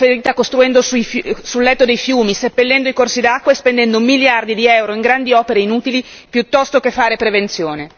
L'hanno ferita costruendo sul letto dei fiumi, seppellendo i corsi d'acqua e spendendo miliardi di euro in grandi opere inutili piuttosto che fare prevenzione.